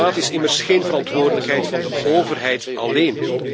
Klimaat is immers geen verantwoordelijkheid van de overheid alleen.